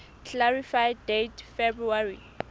clarify date february